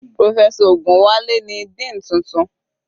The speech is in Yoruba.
Professor Ogunwale ni dean tuntun.